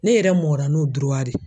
Ne yɛrɛ mɔra n'o de ye